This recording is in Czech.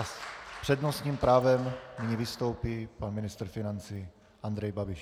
A s přednostním právem nyní vystoupí pan ministr financí Andrej Babiš.